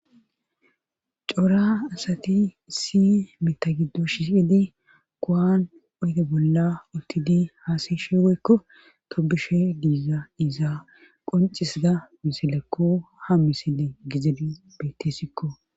Cora asati si mitha giddo shifidi koan oyde bolla uttidi haasayshe weykko tobushey diiza iza qoncisza misilekko ha misile gizedi bettessikko.